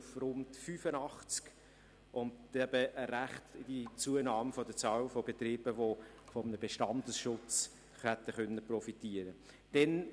Es wäre zu einer beträchtlichen Zunahme der Anzahl Betriebe gekommen, die von einem Bestandesschutz hätten profitieren können.